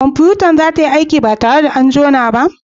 Kwamfutar sa za tayi aiki ba tare da an jona ta ba?